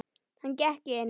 Hann gekk inn.